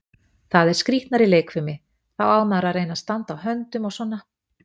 Það er skrýtnari leikfimi, þá á maður að reyna að standa á höndum og svona.